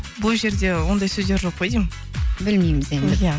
бұл жерде ондай сөздер жоқ қой деймін білмейміз енді иә